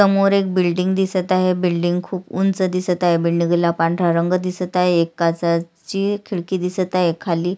समोर एक बिल्डिंग दिसत आहे बिल्डिंग खुप उंच दिसत आहे बिल्डिंगला पांढरा रंग दिसत आहे एक काचा ची खिडकी दिसत आहे खाली --